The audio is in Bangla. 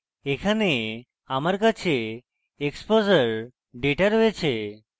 এখানে আমার কাছে exposure ডেটা রয়েছে